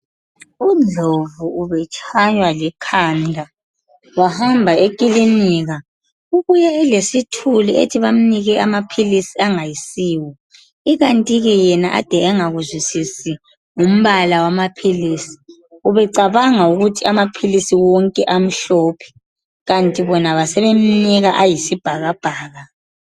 Undlovu ubetshaywa likhanda wahamba ekilinika, ubuye elesithuli ethi bamnike amaphilizi angasiwo, ikanti ke yena ade engakuzwisisi ngumbala wamaphilizi ubecabanga ukuthi amaphilizi wonke amhlophe, kanti bona basebemnika ayisibhakabhaka.